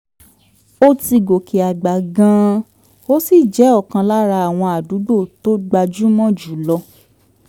ó ti gòkè àgbà gan-an ó sì jẹ́ ọ̀kan lára àwọn àdúgbò tó gbajúmọ̀ jù lọ